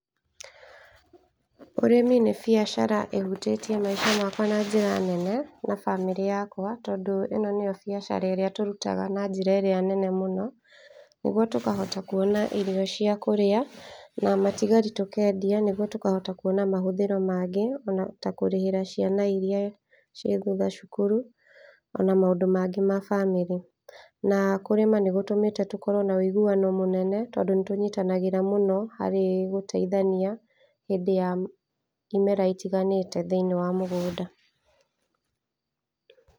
Ũrĩmi nĩ biacara ĩhutĩtie maica makwa na njĩra nene, na bamĩrĩ yakwa, tondũ ĩno nĩyo biacara ĩrĩa tũrutaga na njĩra ĩrĩa nene mũno, nĩgwo tũkahota kuona irio cia kũrĩa, na matigari tũkendia nĩgetha tũkona mahũthĩro mangĩ, ta kũrĩhĩra ciana iria ciĩ thutha cukuru, ona maũndũ mangĩ ma bamĩrĩ. Na kũrĩma nĩ gũtũmĩte tũkorwo na wĩiguano mũnene tondũ nĩ tũnyitanagĩra mũno harĩ gũteithania handĩ ya imera itiganĩte thĩiniĩ wa mũgũnda.